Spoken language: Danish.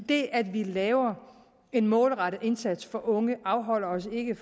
det at vi laver en målrettet indsats for unge afholder os ikke